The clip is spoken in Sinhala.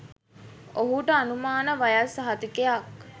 ඔහුට අනුමාන වයස් සහතිකයක්